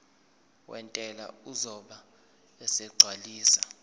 wentela uzobe esegcwalisa